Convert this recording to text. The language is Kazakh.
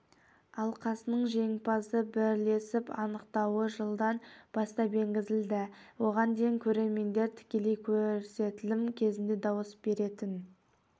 алқасының жеңімпазды бірлесіп анықтауы жылдан бастап енгізілді оған дейін көрермендер тікелей көрсетілім кезінде дауыс беретін